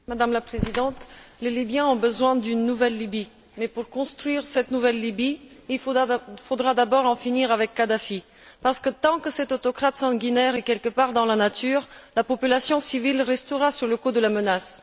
Madame la Présidente, les Libyens ont besoin d'une nouvelle Libye, mais pour construire cette nouvelle Libye, il faudra d'abord en finir avec Kadhafi, parce que tant que cet autocrate sanguinaire sera quelque part dans la nature, la population civile restera sous le coup de la menace.